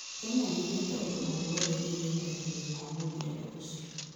Kenya ndĩugĩte ũndũ õ wothe wĩgĩe kũrekererĩo kwa mũbĩrarũ ucĩo